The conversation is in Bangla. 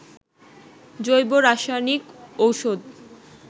জৈব রাসায়নিক ঔষধ